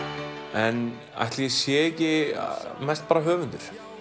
en ætli ég sé ekki mest bara höfundur